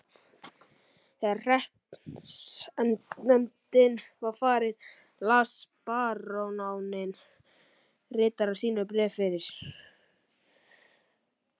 Þegar hreppsnefndin var farin las baróninn ritara sínum bréf fyrir.